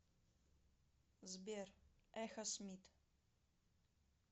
сбер эхосмит